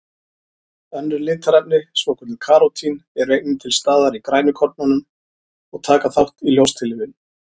Önnur litarefni, svokölluð karótín, eru einnig til staðar í grænukornum og taka þátt í ljóstillífun.